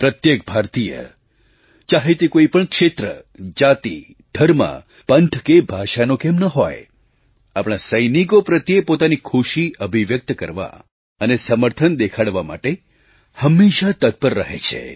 પ્રત્યેક ભારતીય ચાહે તે કોઈ પણ ક્ષેત્ર જાતિ ધર્મ પંથ કે ભાષાનો કેમ ન હોય આપણા સૈનિકો પ્રત્યે પોતાની ખુશી અભિવ્યક્ત કરવા અને સમર્થન દેખાડવા માટે હંમેશાં તત્પર રહે છે